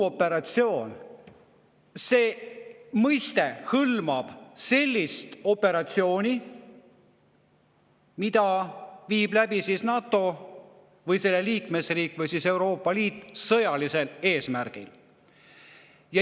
Selle all mõistetakse sellist operatsiooni, mida viib läbi NATO või selle liikmesriik või Euroopa Liit sõjalisel eesmärgil.